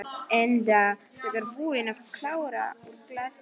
Enda þegar búin að klára úr glasinu.